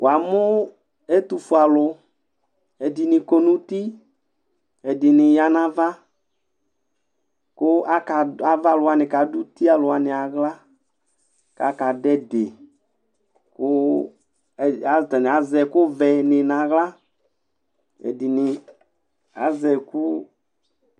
Wa mʊ etʊfuealʊ dɩnɩ kɔ nʊtɩ, ɛdɩnɩ ya nava kʊ ava alʊ wanɩ kadʊ ʊtɩ alʊ wanɩ awla kakɛdʊ ɛdɩ katanɩ azɛ ɛkʊ vɛ nawla ɛdɩnɩ azɛ ɛkʊ